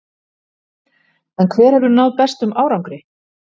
En hver hefur náð bestum árangri?